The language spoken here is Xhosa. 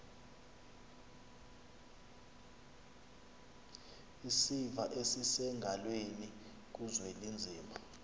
isiva esisengalweni kuzwelinzima